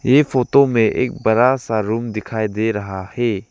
ये फोटो में एक बड़ा सा रूम दिखाई दे रहा है।